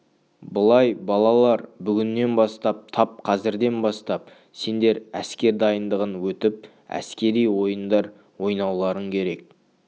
былай балалар бүгіннен бастап тап қазірден бастап сендер әскер дайындығын өтіп әскери ойындар ойнауларың керек